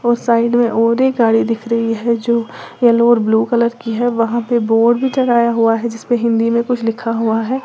उस साइड में और एक गाड़ी दिख रही है जो येलो और ब्लू कलर की है वहां पे बोर्ड भी टंगाया हुआ है जिसपे हिंदी में कुछ लिखा हुआ है।